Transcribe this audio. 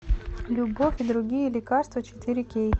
любовь и другие лекарства четыре кей